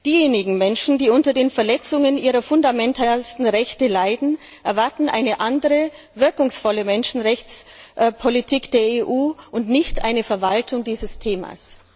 Diejenigen Menschen, die unter den Verletzungen ihrer fundamentalsten Rechte leiden, erwarten eine andere, wirkungsvolle Menschenrechtspolitik der EU und nicht eine Verwaltung dieses Themas.